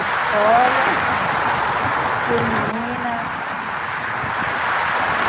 Escola Feminina.